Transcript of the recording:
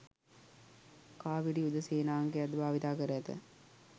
කාපිරි යුද සේනාංකයක්ද භාවිතා කර ඇත